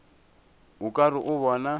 o ka re o bona